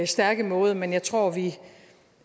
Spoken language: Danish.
stærke måde men jeg tror vi